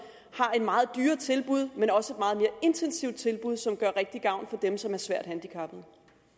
har et meget dyrere tilbud men også et meget mere intensivt tilbud som gør rigtig gavn for dem som er svært handicappede